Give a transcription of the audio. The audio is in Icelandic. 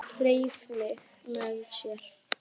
Hann hreif mig með sér.